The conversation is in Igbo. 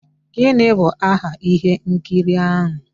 Gịnị bụ aha ihe nkiri ahụ?